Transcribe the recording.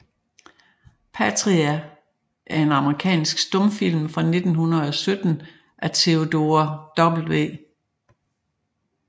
Patria er en amerikansk stumfilm fra 1917 af Theodore W